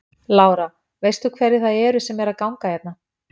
Lára: Veist þú hverjir það eru sem eru að ganga hérna?